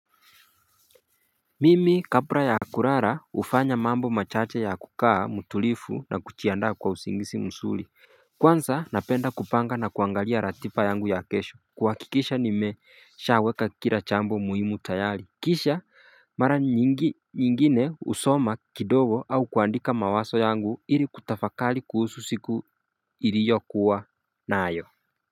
Mimi kapra ya kurara ufanya mambo machache ya kukaa mutulifu na kuchiandaa kwa usingisi msuli Kwansa napenda kupanga na kuangalia ratiba yangu ya kesho kuhakikisha nimeshaweka kila chambo muhimu tayali Kisha mara nyingine usoma kidogo au kuandika mawaso yangu ili kutafakali kuhusu siku iriyo kuwa nayo.